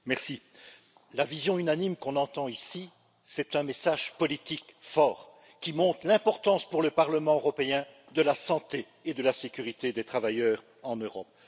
Madame la Présidente, la vision unanime qu'on entend ici, c'est un message politique fort, qui montre l'importance, pour le Parlement européen, de la santé et de la sécurité des travailleurs en Europe.